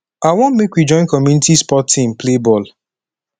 i wan make we join community sport team play ball